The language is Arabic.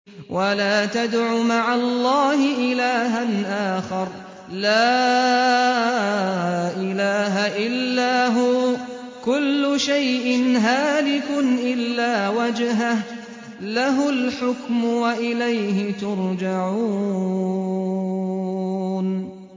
وَلَا تَدْعُ مَعَ اللَّهِ إِلَٰهًا آخَرَ ۘ لَا إِلَٰهَ إِلَّا هُوَ ۚ كُلُّ شَيْءٍ هَالِكٌ إِلَّا وَجْهَهُ ۚ لَهُ الْحُكْمُ وَإِلَيْهِ تُرْجَعُونَ